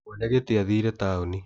Mwene gĩtĩ athire taoni